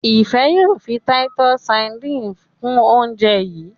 Ifẹ yóò fí Titus sardines kún oúnjẹ yi.